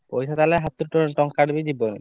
ପଇସା ତାହେଲେ ହାତରୁ ଟଙ୍କାଟେ ବି ହାତରୁ ଯିବନି।